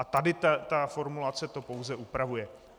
A tady ta formulace to pouze upravuje.